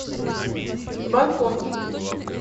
бангкок